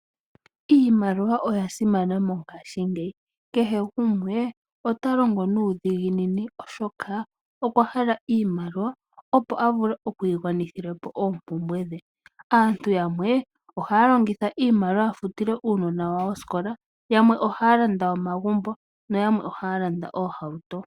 Iimaliwa oyasimana mongashingeyi kehe gumwe ota longo nuudhiginini oshoka okwa hala iimaliwa opo a vule okwii gwanithila po oompumbwe dhe. Aantu yamwe oha longitha iimaliwa ya futile uunona wawo ooskola , yamwe ohaya landa omagumbo no yamwe ohaya landa Oohauto.